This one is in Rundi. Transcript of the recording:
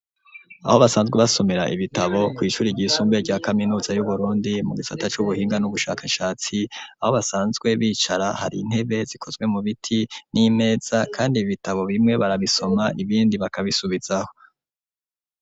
Aho basanzwe basomera ibitabo kw'ishuri ryisumbe rya kaminuza yu Burundi mu gisata c'ubuhinga n'ubushakashatsi aho basanzwe bicara hari intebe zikozwe mu biti n'imeza kandi ibitabo bimwe barabisoma ibindi bakabisubizaho.